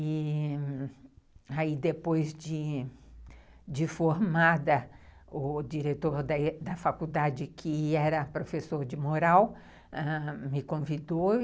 E... Aí depois de formada, o diretor da faculdade, que era professor de moral, ãh, me convidou.